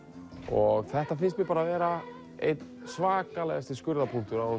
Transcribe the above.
og þetta finnst mér bara vera einn svakalegasti skurðarpunktur á